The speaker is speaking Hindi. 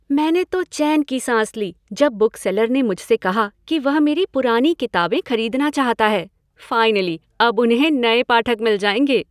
मैंने तो चैन की साँस ली जब बुकसेलर ने मुझसे कहा कि वह मेरी पुरानी किताबें खरीदना चाहता है। फ़ाइनली अब उन्हें नए पाठक मिल जाएंगे।